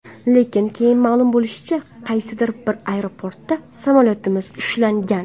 Lekin, keyin ma’lum bo‘lishicha, qaysidir bir aeroportda samolyotimiz ushlangan.